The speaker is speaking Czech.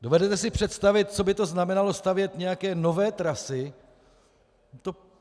Dovedete si představit, co by to znamenalo, stavět nějaké nové trasy?